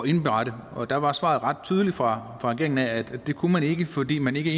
indberette og der var svaret ret tydeligt fra regeringen at det kunne man ikke fordi man i de